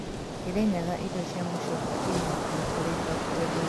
Kirinyaga irio cia mũcooka irĩ hakuhĩ kurĩka kũgethwo